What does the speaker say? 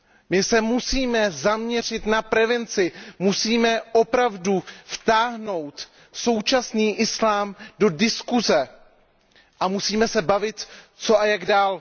My se musíme zaměřit na prevenci, musíme opravdu vtáhnout současný islám do diskuse a musíme se bavit, co a jak dál.